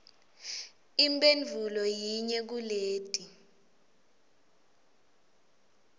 imphendvulo yinye kuleti